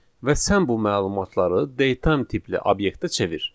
Və sən bu məlumatları date time tipli obyektə çevir.